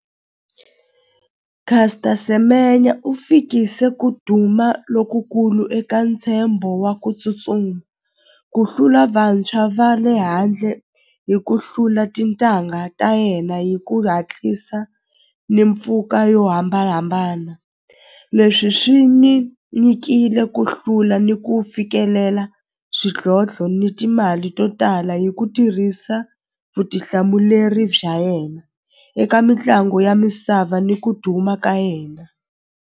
Caster Semenya u fikise ku duma lokukulu eka ntshembo wa ku tsutsuma ku hlula vantshwa va le handle hi ku hlula tintangha ta yena hi ku hatlisa ni mpfuka yo hambanahambana leswi swi ni nyikile ku hlula ni ku fikelela swidlodlo ni timali to tala hi ku tirhisa vutihlamuleri bya yena eka mitlangu ya misava ni ku duma ka yena.